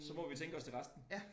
Så må vi tænke os til resten